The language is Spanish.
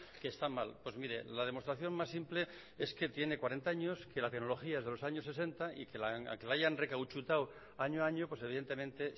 que está mal pues mire la demostración más simple es que tiene cuarenta años que la tecnología es de los años sesenta y aunque la hayan recauchutado año a año pues evidentemente